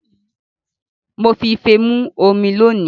Mo fi ife mu omi lónìí